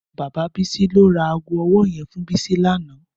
Bàbá Bisi ló rà àgó òwò yèn fún Bisi lànã